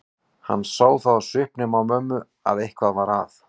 Hann sá það á svipnum á mömmu að eitthvað var að.